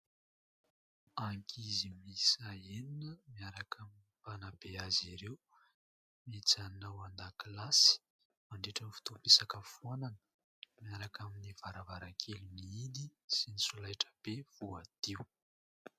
Ankizy miisa enina miaraka amin'ny mpanabe azy ireo mijanona an-dakilasy mandritra ny fotoam-pisakafoana miaraka amin'ny varavarakely mihidy sy ny solaitra be voadio.